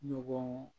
Ɲɔgɔn